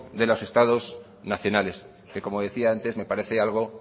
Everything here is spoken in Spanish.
de los estados nacionales que como decía antes me parece algo